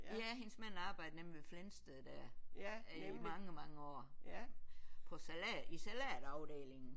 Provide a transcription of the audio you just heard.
Ja hendes mand arbejdede nemlig ved Flensted der i mange mange år på salat i salatafdelingen